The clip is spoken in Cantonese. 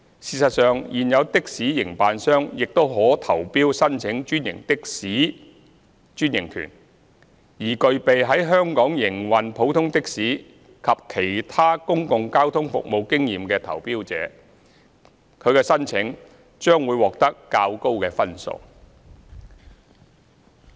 事實上，現有的士營辦商亦可投標申請專營的士專營權，而具備在香港營運普通的士及其他公共交通服務經驗的投標者，其申請將會獲得較高分數。